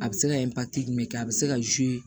A bɛ se ka jumɛn kɛ a bɛ se ka